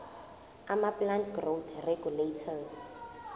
amaplant growth regulators